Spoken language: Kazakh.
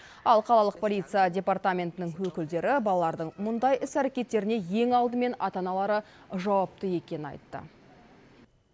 ал қалалық полиция департаментінің өкілдері балалардың мұндай іс әрекеттеріне ең алдымен ата аналары жауапты екенін айтты